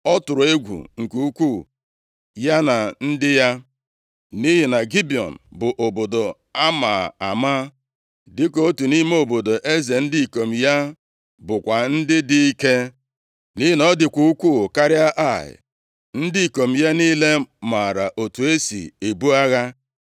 ọ tụrụ egwu nke ukwuu, ya na ndị ya. Nʼihi na Gibiọn bụ obodo a ma ama, dịka otu nʼime obodo ndị eze, ndị ikom ya bụkwa ndị dị ike, nʼihi na ọ dịkwa ukwuu karịa Ai. Ndị ikom ya niile maara otu e si ebu agha.